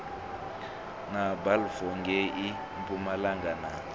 na balfour ngei mpumalanga na